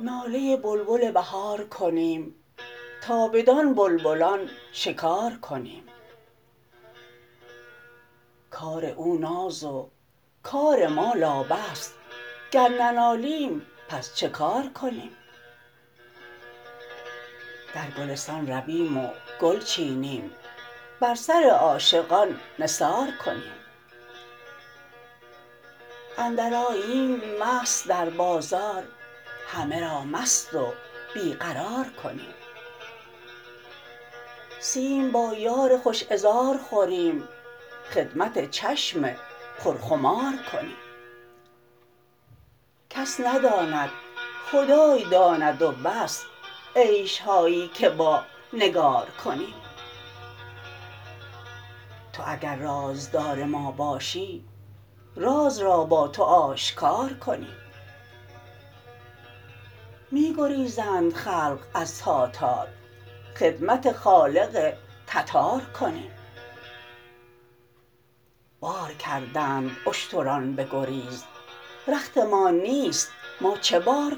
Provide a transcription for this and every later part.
ناله بلبل بهار کنیم تا بدان بلبلان شکار کنیم کار او ناز و کار ما لابه است گر ننالیم پس چه کار کنیم در گلستان رویم و گل چینیم بر سر عاشقان نثار کنیم اندرآییم مست در بازار همه را مست و بی قرار کنیم سیم با یار خوش عذار خوریم خدمت چشم پرخمار کنیم کس نداند خدای داند و بس عیش هایی که با نگار کنیم تو اگر رازدار ما باشی راز را با تو آشکار کنیم می گریزند خلق از تاتار خدمت خالق تبار کنیم بار کردند اشتران بگریز رختمان نیست ما چه بار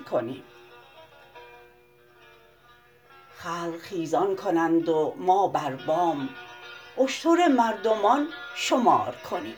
کنیم خلق خیزان کنند و ما بر بام اشتر مردمان شمار کنیم